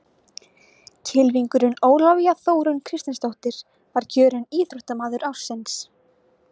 Kylfingurinn Ólafía Þórunn Kristinsdóttir var kjörin Íþróttamaður ársins.